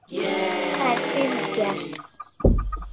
Hvað er sýru djass?